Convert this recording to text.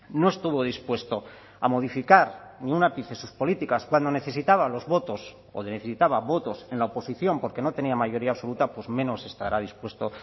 no estuvo dispuesto a modificar un ápice sus políticas cuando necesitaba los votos o necesitaba votos en la oposición porque no tenía mayoría absoluta pues menos estará dispuesto